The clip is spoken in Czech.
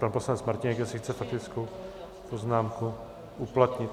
Pan poslanec Martínek, jestli chce faktickou poznámku uplatnit.